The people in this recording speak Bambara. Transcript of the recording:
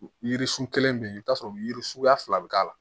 Yiririsun kelen bɛ yen i bɛ t'a sɔrɔ yiri suguya fila bɛ k'a la